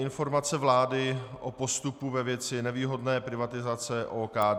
Informace vlády o postupu ve věci nevýhodné privatizace OKD